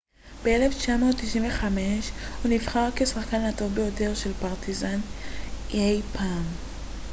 ב-1995 הוא נבחר כשחקן הטוב ביותר של פרטיזן אי פעם